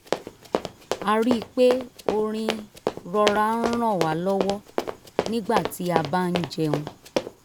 a rí i pé orin rọra ń ràn wa lọwọ nígbà tí a bá ń jẹun